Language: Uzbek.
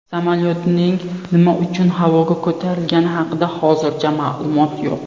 Samolyotning nima uchun havoga ko‘tarilgani haqida hozircha ma’lumot yo‘q.